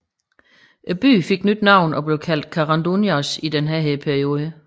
Byen fik nyt navn og blev kaldt Karanduniasj i denne periode